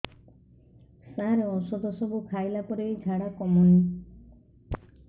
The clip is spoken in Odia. ସାର ଔଷଧ ସବୁ ଖାଇଲା ପରେ ବି ଝାଡା କମୁନି